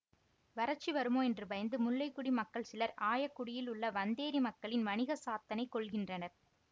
வரட்சி வருமோ என்று பயந்து முல்லை கொடி மக்கள் சிலர் ஆயக்குடியில் உள்ள வந்தேறி மக்களின் வணிகச்சாத்தனை கொல்கின்றனர்